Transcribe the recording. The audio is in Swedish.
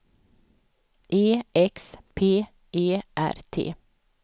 E X P E R T